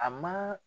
A ma